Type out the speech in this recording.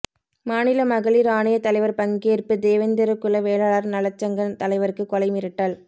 மாநில மகளிர் ஆணைய தலைவர் பங்கேற்பு ேதவேந்திரகுல வேளாளர் நலச்சங்க தலைவருக்கு கொலை மிரட்டல்